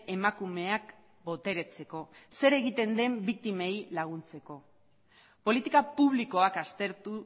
emakumeak boteretzeko zer egiten den biktimei laguntzeko politika publikoak aztertu